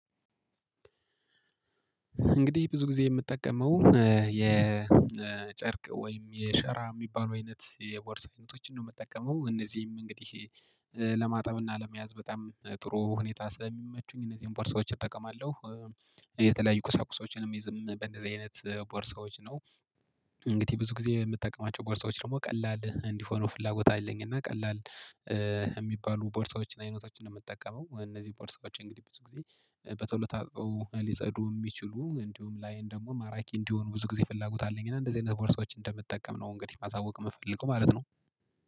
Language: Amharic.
እንግዲህ ብዙ ጊዜ የምጠቀመው የጨርቅ ወይም የሸራ የሚባለው አይነት የቦርሳ አይነቶችን ነው የምጠቀመው እነዚህም እንግዲህ ለማጣብና ለመያዝ በጣም ጥሩ ሁኔታ ስለሚመቹኝ እነዚህን ቦርሳዎች እጠቀማለሁ። የተለያዩ ቁሳቁሳዎችንም የሚይዝበት በእንደዚህ አይነት ቦርሳዎች ነው። እንግዲህ ብዙ ጊዜ የምጠቀማቸው ቦርሳዎች ደግሞ ቀላል እንዲሆኑ ፍላጎት አለኝ። እና ቀላል የሚባሉ ቦርሳዎችን አይነቶችን ነው የምጠቀመው። እነዚህ ቦርሳዎች እንግዲህ ብዙ ጊዜ በቶሎ ታጥበው ሊፀዱ የሚችሉ እንዲሁም ላይን ደግሞ ማራኪ እንዲሆን ብዙ ጊዜ ፍላጎት አለኝ። እና እንደዚህ አይነት ቦርሳዎችን እንደምጠቀም ነው እንግዲህ ማሳወቅ የምፈልገው ማለት ነው